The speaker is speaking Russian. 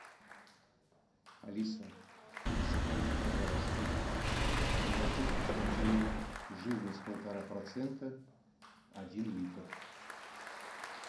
алиса закажи пожалуйста молоко вкуснотеево жирность полтора процента один литр